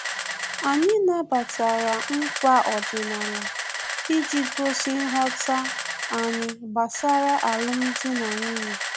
Anyị nabatara nkwa ọdịnala iji gosi nghọta anyị gbasara alum dị na nwunye